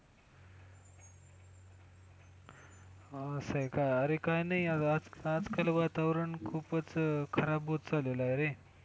हा असं आहे का? अरे काय नाही आज काल वातावरण खूपच खराब होत चाललेलं आहे रे!